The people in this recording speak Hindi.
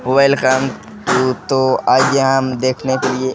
वेलकम तू तो आ गया हम देखने के लिए --